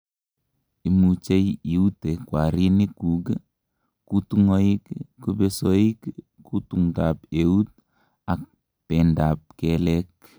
imuchei iute kwarinikguk, kutungoik, kubesoik, kutundap eut ak bendap keleek